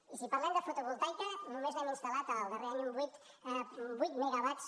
i si parlem de fotovoltaica només n’hem instal·lat el darrer any vuit megawatts